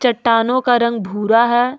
चट्टानों का रंग भूरा है।